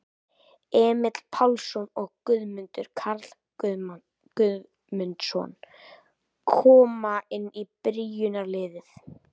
Emil Pálsson og Guðmundur Karl Guðmundsson koma inn í byrjunarliðið.